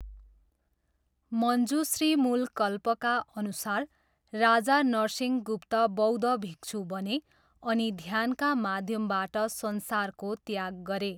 मञ्जुश्रीमुलकल्पका अनुसार राजा नरसिंहगुप्त बौद्ध भिक्षु बने अनि ध्यानका माध्यमबाट संसारको त्याग गरे।